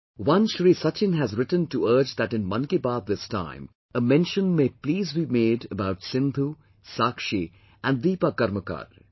" One Shri Sachin has written to urge that in 'Mann Ki Baat' this time a mention may please be made about Sindhu, Saakshi and Deepa Karmakar